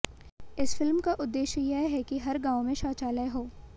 इस फिल्म का उद्देश्य यह है कि हर गांव में शौचालय हो